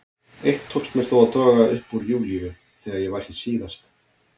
Eitt tókst mér þó að toga upp úr Júlíu þegar ég var hér síðast.